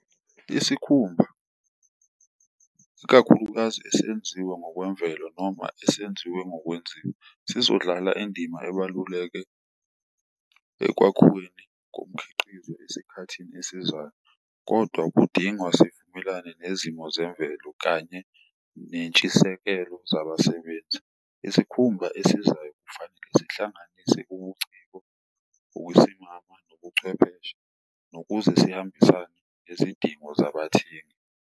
Isikhumba, iskakhulukazi esenziwe ngokwemvelo noma esenziwe ngokwenziwa, sizodlala indima ebaluleke ekwakhiweni komkhiqizo esikhathini esizayo, kodwa kudingwa sivumelane nezimo zemvelo kanye nentshisekelo zabasebenzi. Isikhumba esizayo kufanele sihlanganise ubuciko, ukusimama nobucwepheshe nokuze zihambisane nezidingo zabathengi.